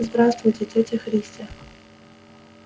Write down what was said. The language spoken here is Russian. здравствуйте тётя христя